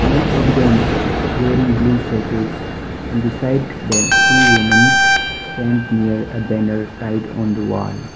most of them wearing blue sweaters and beside that two womens stand near a banner tied on the wall.